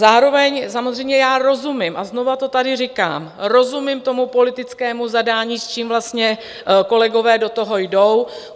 Zároveň samozřejmě já rozumím, a znovu to tady říkám, rozumím tomu politickému zadání, s čím vlastně kolegové do toho jdou.